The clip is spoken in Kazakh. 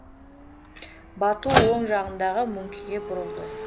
бату оң жағындағы мөңкеге бұрылды